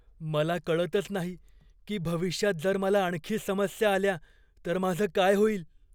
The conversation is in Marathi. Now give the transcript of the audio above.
मला कळतच नाही की भविष्यात जर मला आणखी समस्या आल्या तर माझं काय होईल.